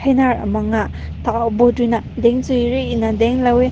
ram mang na tao dun rui na tao tang lao weh.